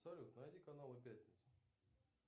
салют найди каналы пятница